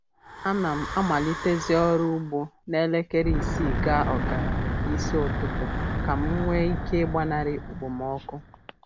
A na m amalitezi ọrụ ugbo na elekere isii gaa ọkara nke isi ụtụtụ ka m nwee ike ịgbanarị okpomọkụ